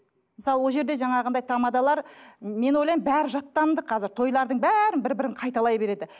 мысалы ол жерде жаңағындай тамадалар мен ойлаймын бәрі жаттанды қазір тойлардың бәрі бір бірін қайталай береді